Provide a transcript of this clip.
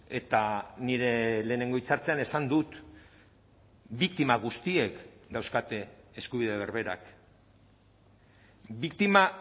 eta nire lehenengo hitza hartzean esan dut biktima guztiek dauzkate eskubide berberak biktima